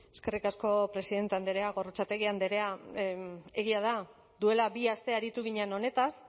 eskerrik asko presidente andrea gorrotxategi andrea egia da duela bi aste aritu ginen honetaz